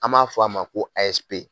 An b'a fɔ a ma ko ASP.